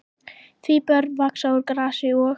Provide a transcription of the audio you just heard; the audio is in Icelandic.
Því börn vaxa úr grasi og.